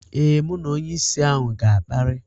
Ee, mụ na onyeisi ahụ ga-akparị.